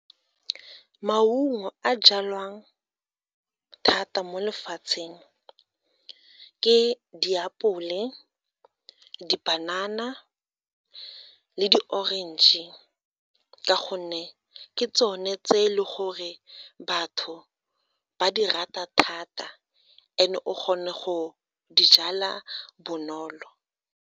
Ke maungo a jalwang thata mo lefatsheng ke diapole, dipanana le di-orange ka gonne ke tsone tse e le gore batho ba di rata thata and o kgone go di jala bonolo.